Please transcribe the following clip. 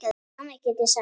Hvað annað get ég sagt?